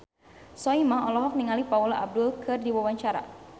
Soimah olohok ningali Paula Abdul keur diwawancara